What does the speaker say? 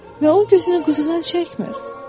Və onun köksünü quzudan çəkmir.